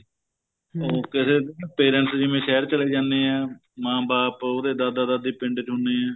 ਉਹ ਕਹਿ ਰੇ parents ਜਿਵੇਂ ਸ਼ਹਿਰ ਚਲੇ ਜਾਨੇ ਏ ਮਾਂ ਬਾਪ ਉਹਦੇ ਦਾਦਾ ਦਾਦੀ ਪਿੰਡ ਚ ਹੁੰਨੇ ਏ